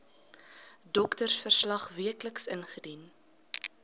doktersverslag wcl indien